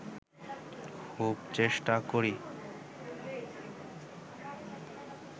খুব চেষ্টা করি